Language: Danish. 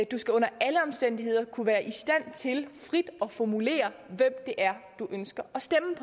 du under alle omstændigheder kunne være i stand til frit at formulere hvem det er du ønsker